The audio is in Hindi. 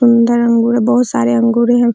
सुन्दर अंगूर है बुहत सारे अंगूर हैं।